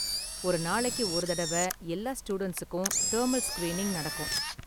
ஒரு நாளைக்கு ஒரு தடவ எல்லா ஸ்டூடண்ட்ஸுக்கும் தெர்மல் ஸ்கிரீனிங் நடக்கும்